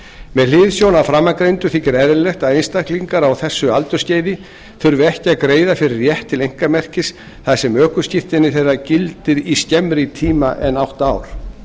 með hliðsjón af framangreindu þykir eðlilegt að einstaklingar á þessu aldursskeiði þurfi ekki að greiða fyrir rétt til einkamerkis þar sem ökuskírteini þeirra gildir í skemmri tíma en átta ár